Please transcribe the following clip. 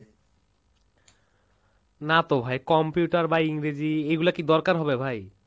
না তো ভাই, Computer বা ইংরেজী এগুলা কী দরকার হবে ভাই?